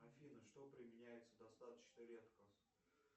афина что применяется достаточно редко